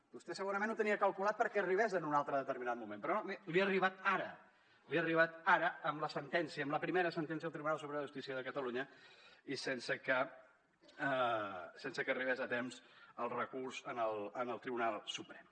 vostè segurament ho tenia calculat perquè arribés en un altre determinat moment però no miri li ha arribat ara li ha arribat ara amb la sentència amb la primera sentència del tribunal superior de justícia de catalunya i sense que arribés a temps el recurs al tribunal suprem